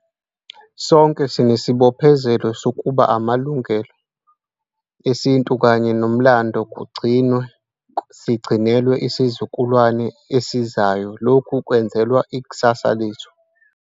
Sonke sinesibophezelo sokuba amalungelo esintu kanye nomlando kugcinwe sikugcinele isizukulwane esizayo lokhu kwenzelwa ikusasa lezwe lethu.